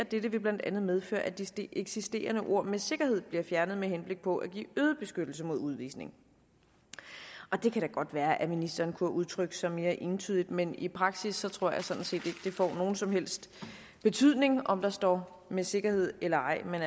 dette vil blandt andet medføre at de eksisterende ord med sikkerhed bliver fjernet med henblik på at give øget beskyttelse mod udvisning det kan da godt være at ministeren kunne have udtrykt sig mere entydigt men i praksis tror jeg sådan set ikke at det får nogen som helst betydning om der står med sikkerhed eller ej men